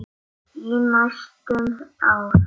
Í næstum ár.